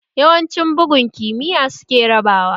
Yawancin bugun kimiyya suke raba wa